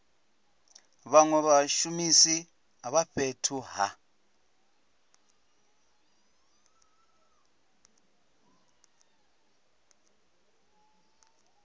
vhanwe vhashumisi vha fhethu ha